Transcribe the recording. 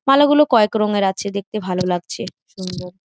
মালা গুলো কয়েক রঙের আছে দেখতে ভালো লাগছে সুন্দর।